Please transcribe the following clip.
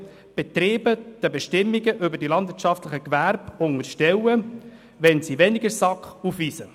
Betriebe mit den Bestimmungen über die landwirtschaftlichen Gewerbe unterstellen, wenn sie weniger SAK aufweisen.